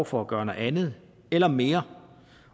for at gøre noget andet eller mere